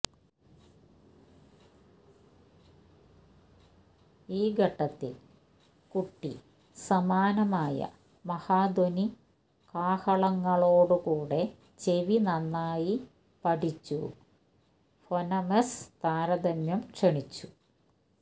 ഈ ഘട്ടത്തിൽ കുട്ടി സമാനമായ മഹാധ്വനികാഹളങ്ങളോടുകൂടെ ചെവി നന്നായി പഠിച്ചു ഫൊനെമെസ് താരതമ്യം ക്ഷണിച്ചു